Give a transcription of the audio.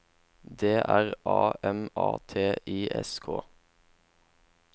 D R A M A T I S K